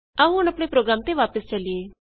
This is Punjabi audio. ਆਉ ਹੁਣ ਆਪਣੇ ਪ੍ਰੋਗਰਾਮ ਤੇ ਵਾਪਸ ਚਲੀਏ